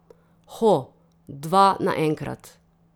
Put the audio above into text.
Ho, dva naenkrat!